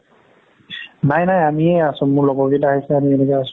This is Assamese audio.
নাই নাই আমিয়ে আছো মোৰ লগৰ কেইটা আহিছে আমি এনেকে আছো